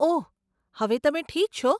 ઓહ, હવે તમે ઠીક છો?